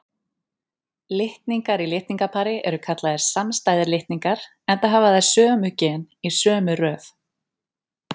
Litningar í litningapari eru kallaðir samstæðir litningar, enda hafa þeir sömu gen í sömu röð.